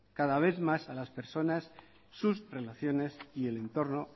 cada vez más a las personas sus relaciones y el entorno